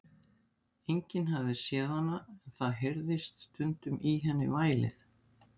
Enginn hafði séð hana, en það heyrðist stundum í henni vælið.